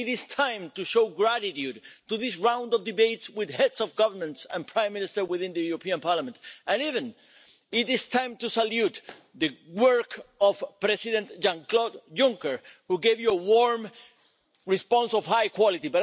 It is time to show gratitude to this round of debates with heads of government and prime ministers within the European Parliament, and it is even time to salute the work of President Jean Claude Juncker, who gave you a warm response of high quality.